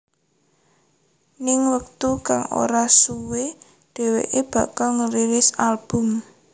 Ning wektu kang ora suwe dheweké bakal ngerilis album